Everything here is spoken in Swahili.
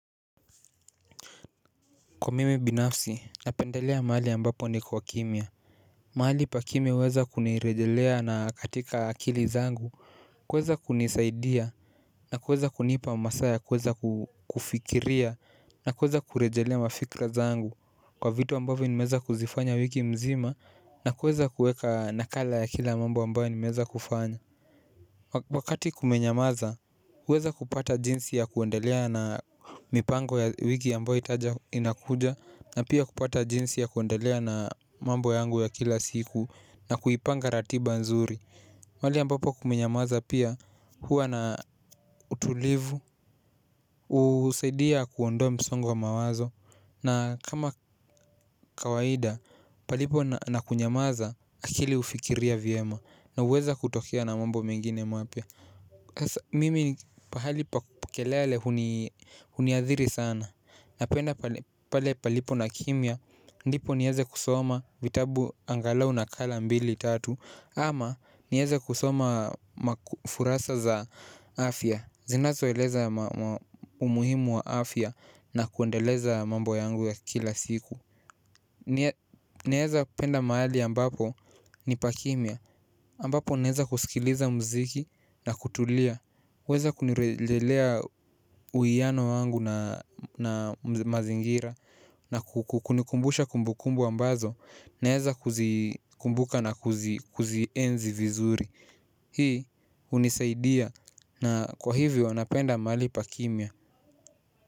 Kwa mimi binafsi, napendelea mahali ambapo niko kimya. Mahali pa kimya huweza kunirejelea na katika akili zangu. Kuweza kunisaidia na kuweza kunipa masaa ya kuweza kufikiria. Na kuweza kurejelea mafikra zangu. Kwa vitu ambavyo nimeweza kuzifanya wiki mzima na kuweza kuweka nakala ya kila mambo ambayo nimeweza kufanya. Wakati kumenyamaza, huweza kupata jinsi ya kuendelea na mipango ya wiki ambayo itaja inakuja. Na pia kupata jinsi ya kuendelea na mambo yangu ya kila siku. Na kuipanga ratiba nzuri pahali ambapo kumenyamaza pia huwa na utulivu husaidia kuondoa msongo wa mawazo. Na kama kawaida palipo na kunyamaza akili hufikiria vyema. Na huweza kutokea na mambo mengine mapya. Mimi pahali pa kelele huniadhiri sana. Napenda pale palipo na kimya, ndipo nieze kusoma vitabu angalau nakala mbili tatu. Ama nieze kusoma makufurasa za afya, zinazo eleza umuhimu wa afya na kuendeleza mambo yangu ya kila siku. Naeza penda mahali ambapo ni pa kimya, ambapo naeza kusikiliza mziki na kutulia. Weza kunirejelea uwiyano wangu na mazingira na kunikumbusha kumbukumbu ambazo naeza kuzikumbuka na kuzienzi vizuri. Hii hunisaidia na kwa hivyo napenda mahali pa kimya.